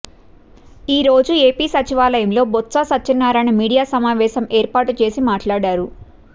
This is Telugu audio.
ఈ రోజు ఏపీ సచివాలయంలో బొత్స సత్యనారాయణ మీడియా సమావేశం ఏర్పాటు చేసి మాట్లడారు